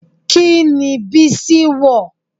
Kini bísí wọ̀?